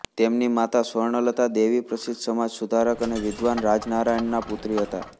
તેમની માતા સ્વર્ણલતા દેવી પ્રસિદ્ધ સમાજ સુધારક અને વિદ્વાન રાજનારાયણના પુત્રી હતા